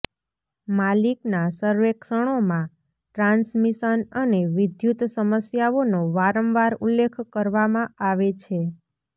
માલિકના સર્વેક્ષણોમાં ટ્રાન્સમિશન અને વિદ્યુત સમસ્યાઓનો વારંવાર ઉલ્લેખ કરવામાં આવે છે